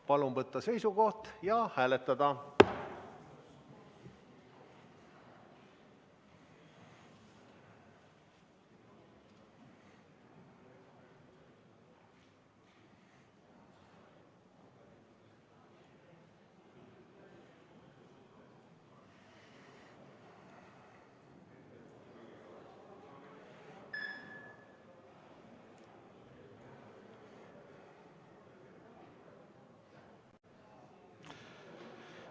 Palun võtta seisukoht ja hääletada!